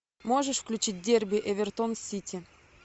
можешь включить дерби эвертон сити